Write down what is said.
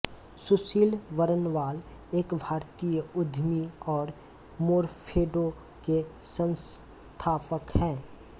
सुशील बरनवाल एक भारतीय उद्यमी और मोरफेडो के संस्थापक है